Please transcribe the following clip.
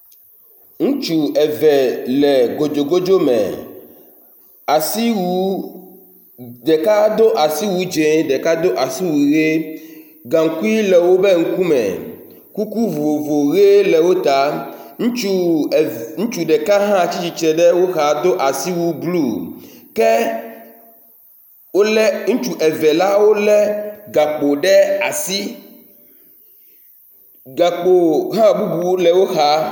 Ŋutsu eve le gedzogodzo me. Asiwu. Ɖeka do asiwu dze, ɖeka do asiwu ʋi. Gaŋkui le woƒe ŋkume. Kuku vovovo ye le wo ta. Ŋutsu ev ŋutsu ɖeka hã tsitre ɖe woxa do asiwu blɔ ke wo le ŋutsu eve la wo le gakpo ɖe asi. Gakpo hã bubu le wo xa.